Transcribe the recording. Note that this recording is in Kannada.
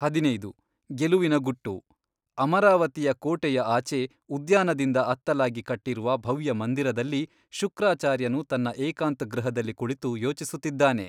ಹದಿನೈದು, ಗೆಲುವಿನ ಗುಟ್ಟು ಅಮರಾವತಿಯ ಕೋಟೆಯ ಆಚೆ ಉದ್ಯಾನದಿಂದ ಅತ್ತಲಾಗಿ ಕಟ್ಟಿರುವ ಭವ್ಯಮಂದಿರದಲ್ಲಿ ಶುಕ್ರಾಚಾರ್ಯನು ತನ್ನ ಏಕಾಂತಗೃಹದಲ್ಲಿ ಕುಳಿತು ಯೋಚಿಸುತ್ತಿದ್ದಾನೆ.